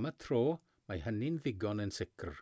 am y tro mae hynny'n ddigon yn sicr